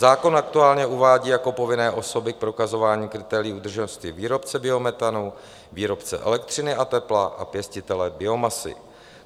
Zákon aktuálně uvádí jako povinné osoby k prokazování kritérií udržitelnosti výrobce biometanu, výrobce elektřiny a tepla a pěstitele biomasy.